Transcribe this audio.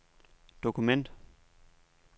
dokument